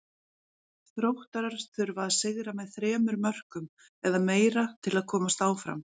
Þróttarar þurfa að sigra með þremur mörkum eða meira til að komast áfram.